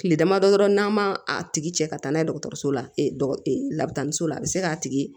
Tile damadɔ n'a ma a tigi cɛ ka taa n'a ye dɔgɔtɔrɔso la labataniso la a bɛ se k'a tigi